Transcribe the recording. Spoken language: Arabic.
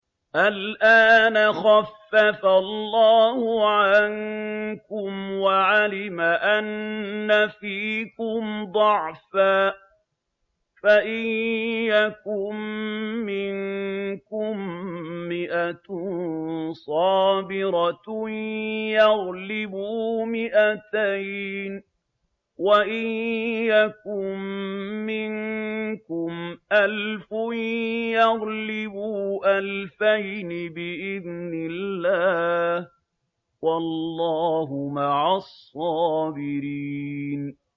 الْآنَ خَفَّفَ اللَّهُ عَنكُمْ وَعَلِمَ أَنَّ فِيكُمْ ضَعْفًا ۚ فَإِن يَكُن مِّنكُم مِّائَةٌ صَابِرَةٌ يَغْلِبُوا مِائَتَيْنِ ۚ وَإِن يَكُن مِّنكُمْ أَلْفٌ يَغْلِبُوا أَلْفَيْنِ بِإِذْنِ اللَّهِ ۗ وَاللَّهُ مَعَ الصَّابِرِينَ